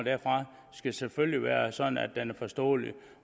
skal selvfølgelig være sådan at den er forståelig